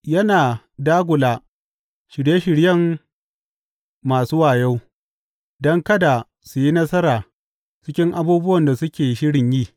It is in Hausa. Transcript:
Yana dagula shirye shiryen masu wayo don kada su yi nasara cikin abubuwan da suke shirin yi.